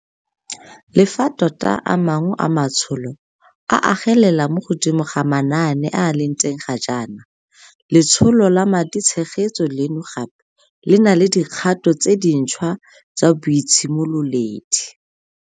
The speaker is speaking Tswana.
Le fa tota a mangwe a matsholo a agelela mo godimo ga manaane a a leng teng ga jaana, letsholo la maditshegetso leno gape le na le dikgato tse dintšhwa tsa boitshimololedi.